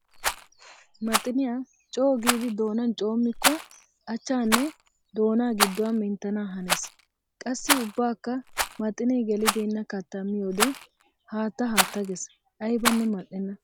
Maxxiniya coo giiddi doonan coommikko achanne doonna giduwa menttana hanees. Qassi ubbakka maxxinne gelibeenna katta miyoode haatta haatta gees, aybbanne mali'enna!